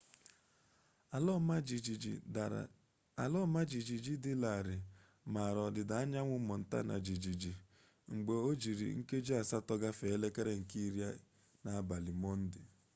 ala ọma jijiji dị larịị mara ọdịda anyanwụ montana jijiji mgba ojiri nkeji asatọ gafee elekere nke iri n'abalị monde